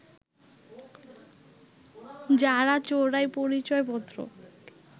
যারা চোরাই পরিচয়পত্র